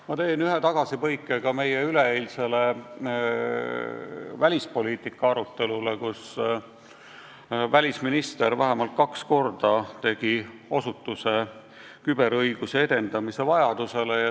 Ma teen ühe tagasipõike meie üleeilse välispoliitika arutelu juurde, kus välisminister vähemalt kaks korda osutas küberõiguse edendamise vajadusele.